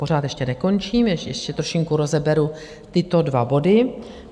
Pořád ještě nekončím, ještě trošinku rozeberu tyto dva body.